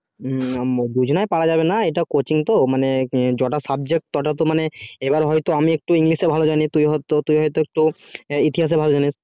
হুম দুজনেই পারা যাবেনা এটা coaching তো মানে জটা subject তটাতে মানে এবার হয়তো আমি একটু english এ ভালো জানি তুই হয় তুই হয় তো তোর ইতিহাস এ ভালো জানিস